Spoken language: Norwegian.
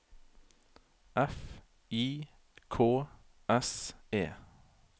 F I K S E